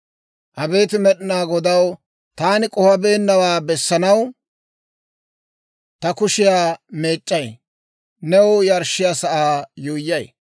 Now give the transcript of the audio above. Abeet Med'inaa Godaw, taani k'ohabeennawaa bessanaw ta kushiyaa meec'c'ay. New yarshshiyaa sa'aa yuuyyay;